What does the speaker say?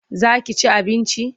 Za ki ci abinci?